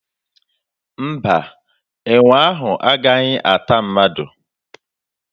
Mba, enwe ahụ agaghị ata mmadụ.